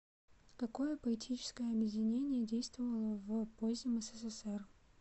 какое поэтическое объединение действовало в позднем ссср